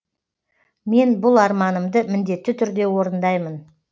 мен бұл арманымды міндетті түрде орындаймын